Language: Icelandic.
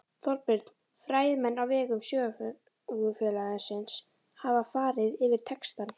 Þorbjörn: Fræðimenn á vegum Sögufélagsins hafa farið yfir textann?